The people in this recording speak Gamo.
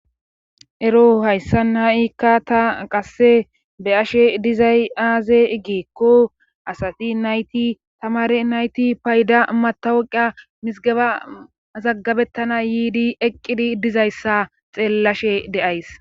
ero hayssa naa7ikka ta qasse be ashe dizay aaze igeekko asati nayti tamare nayti payda matawuqa misgaba zaggabettana yiidi eqqidi dizayssa xeellashe de7ays